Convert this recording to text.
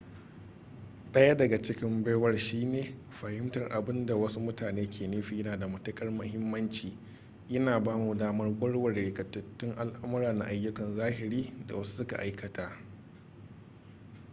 daya daga cikin baiwar shine fahimtar abin da wasu mutane ke nufi yana da matuƙar muhimmanci yana ba mu damar warware rikitattun al'amura na ayyukan zahiri da wasu su ka aikata